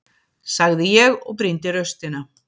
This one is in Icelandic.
sagði ég og brýndi raustina.